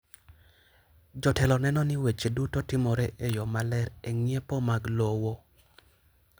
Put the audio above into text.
Jotelo neno ni weche duto timore e yo maler e ng’iepo mag lowo.